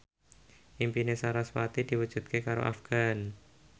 impine sarasvati diwujudke karo Afgan